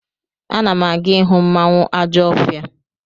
Ana m aga ịhụ mmanwụ Ajọfia.